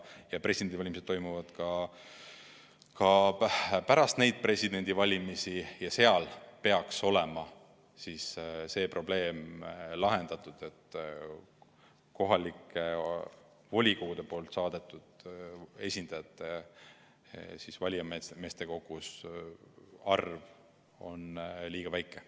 Presidendivalimised toimuvad ka pärast neid valimisi ja siis peaks olema see probleem lahendatud, et kohalike volikogude saadetud esindajate arv valimiskogus on liiga väike.